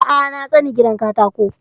A'a na tsani gidan katako